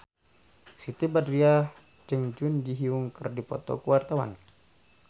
Siti Badriah jeung Jun Ji Hyun keur dipoto ku wartawan